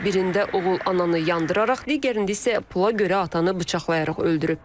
Birində oğul ananı yandıraraq, digərində isə pula görə atanı bıçaqlayaraq öldürüb.